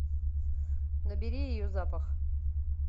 набери ее запах